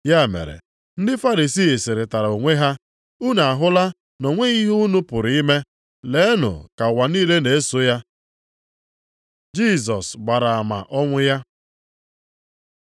Ya mere, ndị Farisii sịrịtara onwe ha, “Unu ahụla na o nweghị ihe unu pụrụ ime, leenụ ka ụwa niile na-eso ya.” Jisọs gbara ama ọnwụ ya